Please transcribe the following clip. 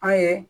An ye